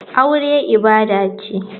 Aure ibada ce.